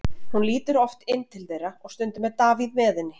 Hún lítur oft inn til þeirra og stundum Davíð með henni.